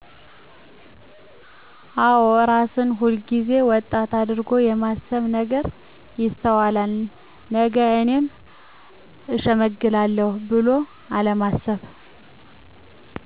አወ እራስን ሁል ጊዜ ወጣት አድርጎ የማስብ ነገር ይስተዋላል ነገ እኔም እሸመግላለሁ ብሎ አለማሰብ